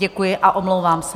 Děkuji a omlouvám se.